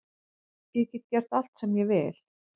Ég get gert allt sem ég vil